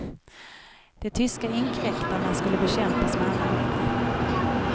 De tyska inkräktarna skulle bekämpas med alla medel.